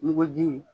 Muguji